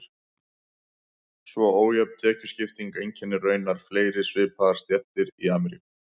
Svo ójöfn tekjuskipting einkennir raunar fleiri svipaðar stéttir í Ameríku.